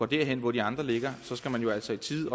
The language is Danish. derhen hvor de andre ligger så skal man jo altså i tide